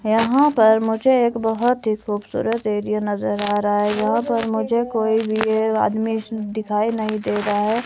यहां पर मुझे एक बहोत ही खूबसूरत एरिया नजर आ रहा है। यहां पर मुझे कोई भी एक आदमी दिखाई नहीं दे रहा है।